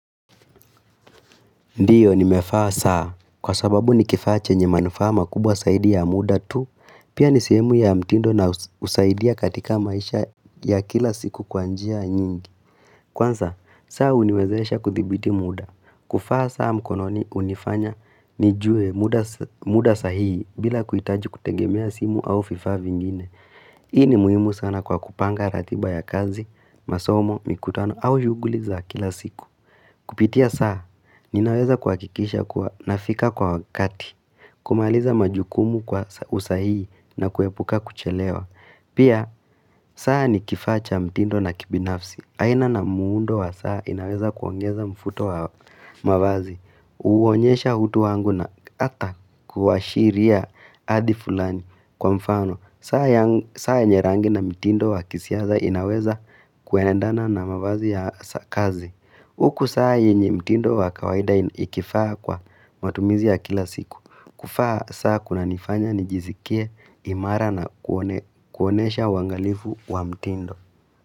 Ndiyo nimevaa saa kwa sababu nikifaa chenye manufaa makubwa zaidi ya muda tu Pia nisehemu ya mtindo na husaidia katika maisha ya kila siku kwa njia nyingi Kwanza, saa huniwezesha kuthibiti muda kuvaa saa mkononi unifanya nijue muda sahihi bila kuhitaji kutegemea simu au vifaa vingine Hii ni muhimu sana kwa kupanga ratiba ya kazi, masomo, mikutano au shuguli za kila siku Kupitia saa, ninaweza kuhakikisha kuwa nafika kwa wakati, kumaliza majukumu kwa usahihi na kuepuka kuchelewa. Pia, saa ni kifaa cha mtindo na kibinafsi. Aina na muundo wa saa, inaweza kuongeza mvuto wa mavazi. Uonyesha utu wangu na hata kuashiria adi fulani kwa mfano. Saa yenye rangi na mtindo wakisasa inaweza kuendana na mavazi ya kazi Uku saa yenye mtindo wakawaida ikifaa kwa matumizi ya kila siku kuvaa saa kuna nifanya nijiskie imara na kuonesha wangalifu wa mtindo.